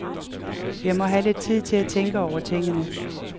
Jeg må have lidt tid til at tænke over tingene.